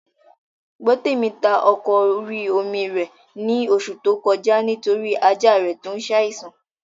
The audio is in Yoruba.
Gbọ́tèmi ta ọkọ̀ orí-omi rẹ̀ ní oṣù tó kọjá nítorí ajá rẹ̀ tó n saìsàn